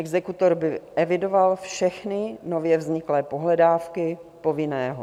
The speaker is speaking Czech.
Exekutor by evidoval všechny nově vzniklé pohledávky povinného.